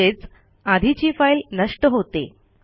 म्हणजेच आधीची फाईल नष्ट होते